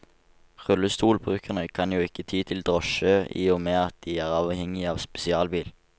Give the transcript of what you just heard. Rullestolbrukerne kan jo ikke ty til drosje i og med at de er avhengige av spesialbil.